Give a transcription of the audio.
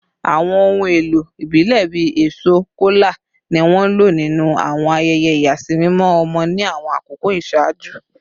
Awọn ohun elo ibilẹ bii eso kola ni wọn lo ninu awọn ayẹyẹ iyasimimọ ọmọ ni awọn akoko iṣaaju